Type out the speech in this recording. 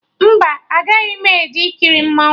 Mba, agaghị m eje ikiri mmanwụ